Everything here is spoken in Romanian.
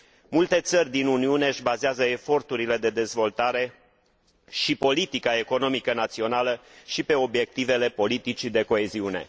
Multe țări din Uniune își bazează eforturile de dezvoltare și politica economică națională și pe obiectivele politicii de coeziune.